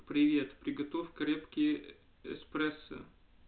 привет приготовь крепкий эспрессо